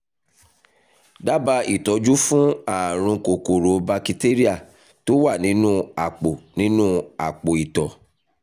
dábàá ìtọ́jú fún ààrùn kòkòrò bakitéríà tó wà nínú àpò nínú àpò ìtọ̀